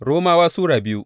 Romawa Sura biyu